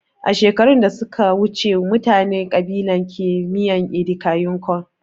Shekaru da suka wuce mutanin kalaba ke miyan ( edika yin kon)